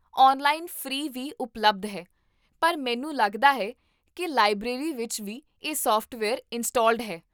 online free ਵੀ ਉਪਲਬਧ ਹਨ , ਪਰ ਮੈਨੂੰ ਲੱਗਦਾ ਹੈ ਕਿ ਲਾਇਬ੍ਰੇਰੀ ਵਿੱਚ ਵੀ ਇਹ ਸੋਫਟਵੇਅਰ ਇੰਸਟਾਲਡ ਹੈ